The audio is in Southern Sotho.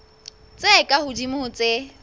tse ka hodimo ho tse